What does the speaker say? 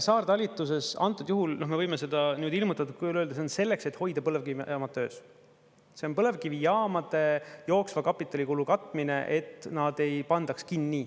Saartalitluses, antud juhul, noh me võime seda niimoodi ilmutatud kujul öelda, see on selleks, et hoida põlevkivijaamad töös, see on põlevkivijaamade jooksva kapitalikulu katmine, et nad ei pandaks kinni.